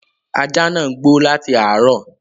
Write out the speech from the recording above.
Ajá ńáà ń gbó láti àárọ